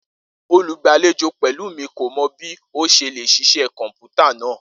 Olugbalejo Pelumi ko mọ bi o ṣe le ṣiṣẹ kọnputa naa